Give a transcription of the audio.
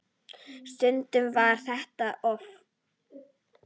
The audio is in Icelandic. Stundum var þetta öfugt.